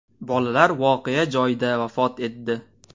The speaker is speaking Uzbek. Bolalar voqea joyida vafot etdi.